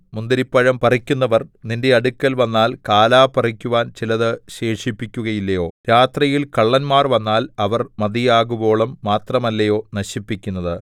മുന്തിരിപ്പഴം പറിക്കുന്നവർ നിന്റെ അടുക്കൽ വന്നാൽ കാലാ പറിക്കുവാൻ ചിലത് ശേഷിപ്പിക്കുകയില്ലയോ രാത്രിയിൽ കള്ളന്മാർ വന്നാൽ അവർ മതിയാകുവോളം മാത്രമല്ലയോ നശിപ്പിക്കുന്നത്